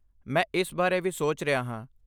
ਮੈਂ ਇਸ ਬਾਰੇ ਵੀ ਸੋਚ ਰਿਹਾ ਹਾਂ।